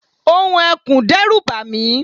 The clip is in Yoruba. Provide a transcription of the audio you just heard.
ohùn ekùn dẹ́rù bàmí